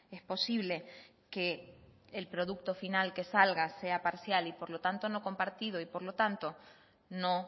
es posible que el producto final que salga sea parcial y por lo tanto no compartido y por lo tanto no